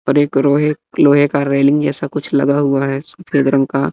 और एक रोहे लोहे का रेलिंग जैसा कुछ लगा हुआ है सफेद रंग का--